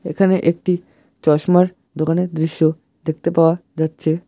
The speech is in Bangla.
এখানে একটি চশমার দোকানের দৃশ্য দেখতে পাওয়া যাচ্ছে।